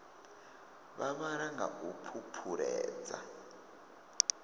vha vhala nga u phuphuledza